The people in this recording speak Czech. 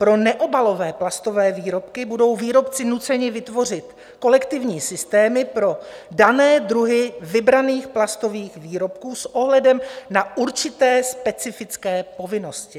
Pro neobalové plastové výrobky budou výrobci nuceni vytvořit kolektivní systémy pro dané druhy vybraných plastových výrobků s ohledem na určité specifické povinnosti.